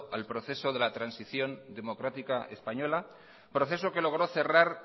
al proceso de la transición democrática española proceso que logró cerrar